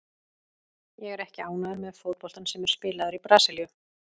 Ég er ekki ánægður með fótboltann sem er spilaður í Brasilíu.